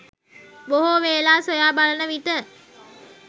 බොහෝ වේලා සොයා බලනවිට